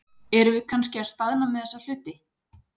Erum við kannski að staðna með þessa hluti?